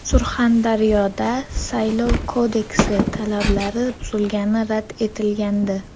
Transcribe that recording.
Surxondaryoda Saylov kodeksi talablari buzilgani rad etilgandi.